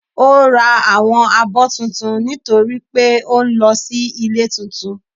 ò rá áwọn abó túntún nitori pe ò n lọ si ilé túntún.